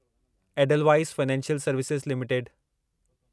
Edelweiss financial services limited